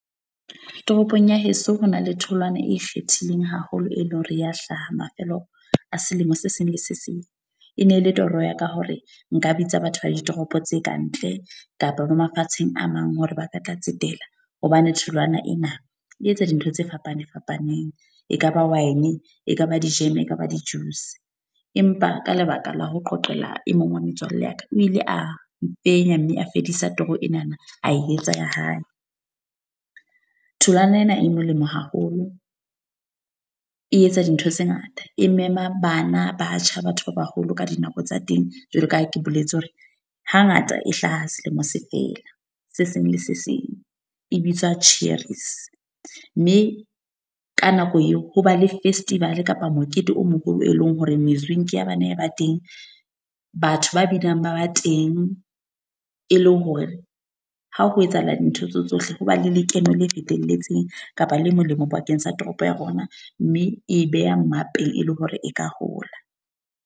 Toropong ya heso ho na le tholwana e ikgethileng haholo, e leng hore ya hlaha mafelo a selemo se seng le se seng. E ne e le toro ya ka hore nka bitsa batho ba di toropo tse kantle kapa ba mafatsheng a mang, hore ba ka tla tsetela. Hobane tholwana ena e etsa dintho tse fapaneng fapaneng. Ekaba wine, ekaba di-jam ekaba di-juice. Empa ka lebaka la ho qoqela e mong wa metswalle ya ka, o ile a fenya mme a fedisa toro ena a e etsa ya hae. Tholwana ena e molemo haholo, e etsa dintho tse ngata. E mema bana, batjha, batho ba baholo ka dinako tsa teng. Jwalo ka ha ke boletse hore hangata e hlaha selemo se fela se seng le se seng e bitswa Cherries. Mme ka nako eo ho ba le festival kapa mokete o moholo, e leng hore mezwinki ya bane ba teng. Batho ba binang ba ba teng. E le hore ha ho etsahala dintho tseo tsohle, ho ba le lekeno le fetelletseng kapa le molemo bakeng sa toropo ya rona. Mme e be ha mmapeng e le hore e ka hola.